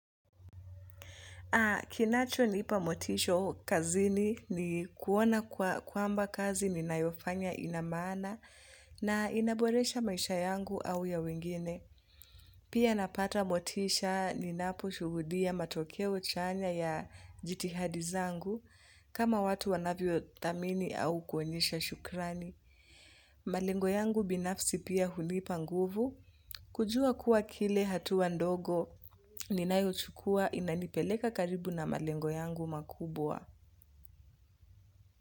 Kinachonipa motisha kazini ni kuona kwamba kazi ninayofanya ina maana na inaboresha maisha yangu au ya wengine. Pia napata motisha ninapo shuhudia matokeo chanya ya jitihadi zangu kama watu wanavyo thamini au kuonyesha shukrani. Malengo yangu binafsi pia hunipa nguvu. Kujua kuwa kile hatua ndogo ninayo chukua inanipeleka karibu na malengo yangu makubwa.